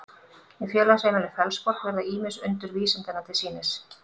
í félagsheimilinu fellsborg verða ýmis undur vísindanna til sýnis